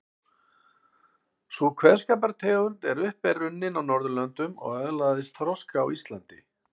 Sú kveðskapartegund er upp runnin á Norðurlöndum og öðlaðist þroska á Íslandi.